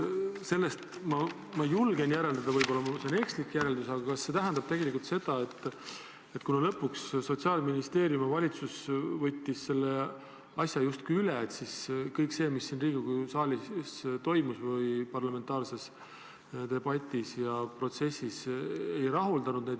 Sellest ma julgen järeldada – võib-olla on see ekslik järeldus –, et see tähendab seda, et kuna lõpuks Sotsiaalministeerium ja valitsus võtsid selle asja justkui üle, siis kõik see, mis siin Riigikogu saalis või parlamentaarses debatis ja protsessis toimus, ei rahuldanud neid.